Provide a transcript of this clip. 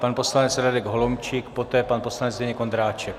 Pan poslanec Radek Holomčík, poté pan poslanec Zdeněk Ondráček.